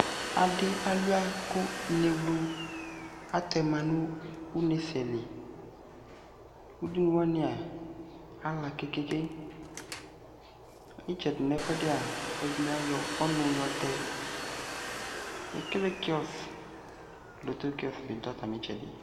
Adi alua ko enewlu atɛma no une sɛ li Udunu wanea ala kekeke Itsɛde nɛ fuɛdea alɔde ne agɔ ɔnu yɔtɛ Ekele kiɔs, lotto kiɔs be ta tame tsɛde